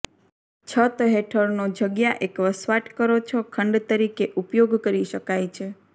છત હેઠળનો જગ્યા એક વસવાટ કરો છો ખંડ તરીકે ઉપયોગ કરી શકાય છે